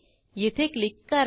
येथे क्लिक करा